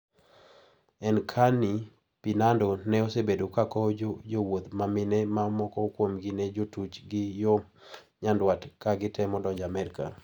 Encarni Pindado ma osebedo ka kowo jowuoth ma mine ma moko kuomgi ne jotuch gi yo nyanduat ka gitemo donjo Amerka.